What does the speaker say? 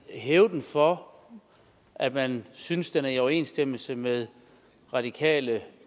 hæve den for at man synes at den er i overensstemmelse med radikale